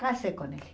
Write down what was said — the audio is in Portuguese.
Casei com ele.